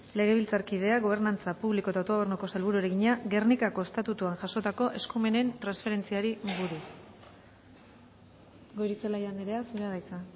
legebiltzarkideak gobernantza publiko eta autogobernuko sailburuari egina gernikako estatutuan jasotako eskumenen transferentziari buruz gorizelaia anderea zurea da hitza